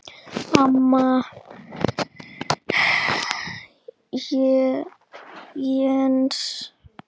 Amma Jens.